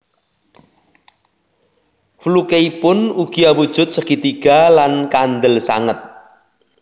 Flukeipun ugi awujud segitiga lan kandel sanget